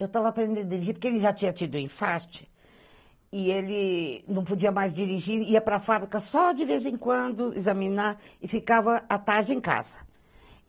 Eu tava aprendendo a dirigir, porque ele já tinha tido enfarte, e ele não podia mais dirigir, ia para fábrica só de vez em quando examinar, e ficava à tarde em casa.